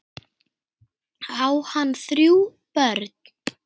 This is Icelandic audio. Á hann þrjú börn.